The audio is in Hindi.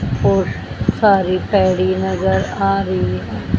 और सारी पेड़ी नजर आ रही है।